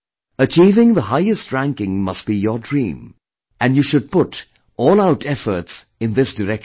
Achieving the highest ranking must be your dream and you should put all out efforts in this direction